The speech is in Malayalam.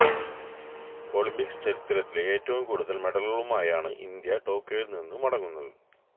ഒളിംപിക്സ് ചരിത്രത്തിലെ ഏറ്റവും കൂടുതൽ മെഡലുകളുമായാണ് ഇന്ത്യ ടോക്കിയോയിൽ നിന്ന് മടങ്ങുന്നത്